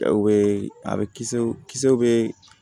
U bɛ a bɛ kisɛw kisɛw bɛ